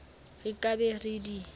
re ka be re di